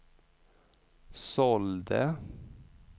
sålde